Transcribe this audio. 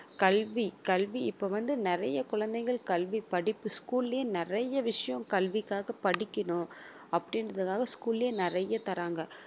கல்வி கல்வி இப்ப வந்து நிறைய குழந்தைகள் கல்வி படிப்பு school லயே நிறைய விஷயம் கல்விக்காகப் படிக்கணும் அப்படின்றதுக்காக school லயே நிறைய தர்றாங்க